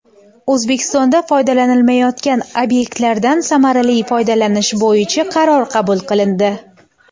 O‘zbekistonda foydalanilmayotgan obyektlardan samarali foydalanish bo‘yicha qaror qabul qilindi.